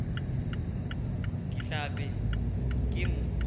ke tla be ke mo